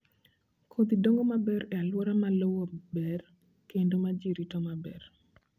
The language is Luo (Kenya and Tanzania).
Kodhi dongo maber e alwora ma lowo ber kendo ma ji rito maber.